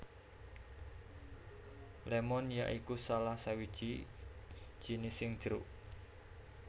Lémon ya iku salah sawiji jinising jeruk